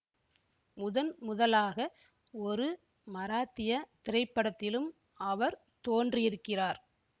முதன்முதலாக ஒரு மராத்திய திரைப்படத்திலும் அவர் தோன்றியிருக்கிறார்